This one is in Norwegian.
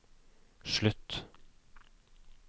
slutt